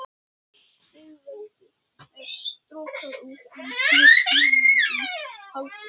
Stigveldið er strokað út, en mismuninum haldið.